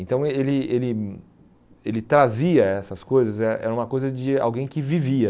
Então ele ele ele trazia essas coisas, eh era uma coisa de alguém que vivia